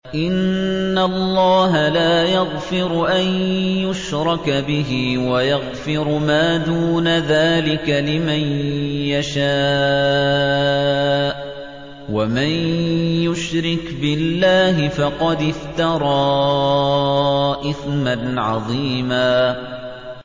إِنَّ اللَّهَ لَا يَغْفِرُ أَن يُشْرَكَ بِهِ وَيَغْفِرُ مَا دُونَ ذَٰلِكَ لِمَن يَشَاءُ ۚ وَمَن يُشْرِكْ بِاللَّهِ فَقَدِ افْتَرَىٰ إِثْمًا عَظِيمًا